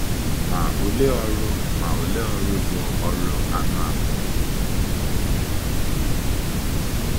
Ma, olee ọrụ Ma, olee ọrụ ndị bụ́ ọrụ anụ ahụ́?